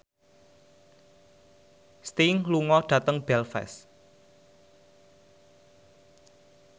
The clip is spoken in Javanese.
Sting lunga dhateng Belfast